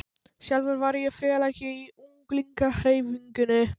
Sjálfur var ég félagi í ungliðahreyfingunni.